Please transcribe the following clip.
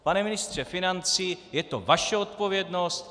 Pane ministře financí, je to vaše odpovědnost.